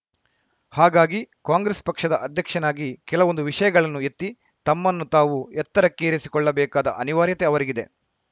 ಹಾಗಾಗಿ ಕಾಂಗ್ರೆಸ್‌ ಪಕ್ಷದ ಅಧ್ಯಕ್ಷನಾಗಿ ಕೆಲವೊಂದು ವಿಷಯಗಳನ್ನು ಎತ್ತಿ ತಮ್ಮನ್ನು ತಾವು ಎತ್ತರಕ್ಕೇರಿಸಿಕೊಳ್ಳಬೇಕಾದ ಅನಿವಾರ್ಯತೆ ಅವರಿಗಿದೆ